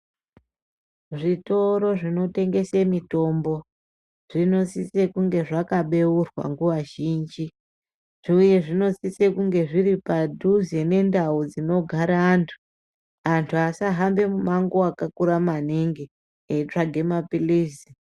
Zvitoro zvinotengese mitombo zvinosise kunge zvakaberwa nguva zhinji uye zvinosisa kunge zviri padhuze nendau dzinogara antu , antu asahambe mumango wakakura maningi eitsvage maphilizi.